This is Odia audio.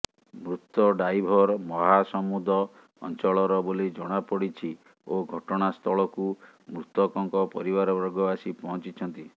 ମୃତ ଡ୍ରାଇଭର ମହାସମୁଦ ଅଞ୍ଚଳର ବୋଲି ଜଣାପଡିଛି ଓ ଘଟଣା ସ୍ଥଳକୁ ମୃତକଙ୍କ ପରିବାର ବର୍ଗ ଆସି ପହଞ୍ଚିଛନ୍ତି